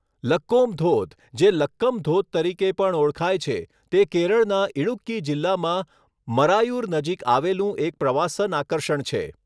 લક્કોમ ધોધ, જે લક્કમ ધોધ તરીકે પણ ઓળખાય છે, તે કેરળના ઇડુક્કી જિલ્લામાં મરાયુર નજીક આવેલું એક પ્રવાસન આકર્ષણ છે.